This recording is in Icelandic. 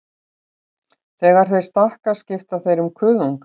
Þegar þeir stækka skipta þeir um kuðunga.